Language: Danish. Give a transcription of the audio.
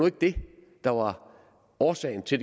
ikke det der var årsagen til